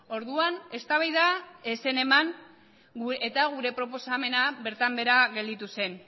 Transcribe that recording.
orduan eztabaida ez zen eman eta gure proposamena bertan behera gelditu zen